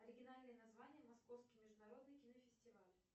оригинальное название московский международный кинофестиваль